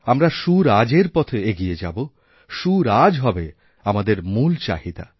আমরা সুরাজের পথে এগিয়েযাবো সুরাজ হবে আমদের মূল চাহিদা